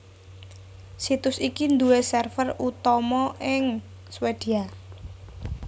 Situs iki nduwé server utama ing Swédia